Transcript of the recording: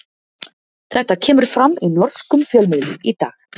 Þetta kemur fram í norskum fjölmiðlum í dag.